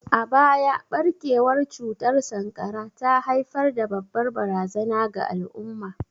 A baya, barkewar cutar sankara ta haifar da babbar barazana ga al'umma.